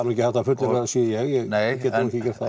nú ekki hægt að fullyrða að það sé ég nei